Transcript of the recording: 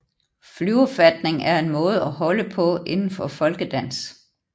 Flyverfatning er en måde at holde på inden for folkedans